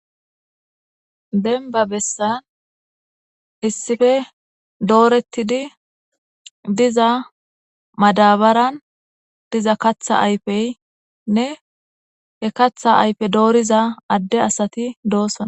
Dembbba bessan issipe dooretidi diza madabaran diza kaththa ayfene he kaththa ayfe dooriza addeti doosona.